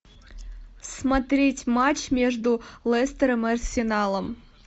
смотреть матч между лестером и арсеналом